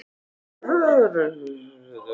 Kristján: Og hver vill svo fá þetta, hvert er selt?